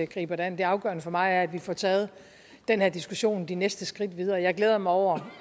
griber det an det afgørende for mig er at vi får taget den her diskussion de næste skridt videre jeg glæder mig over